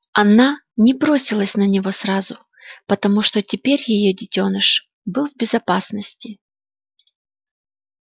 она не бросилась на него сразу потому что теперь её детёныш был в безопасности